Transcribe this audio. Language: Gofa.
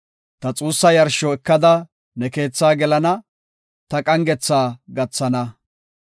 Ta xuussa yarsho ekada ne keethaa gelana, ta qangetha gathana.